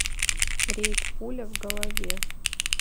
рейд пуля в голове